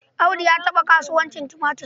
Audu ya taɓa kasuwancin tumatir.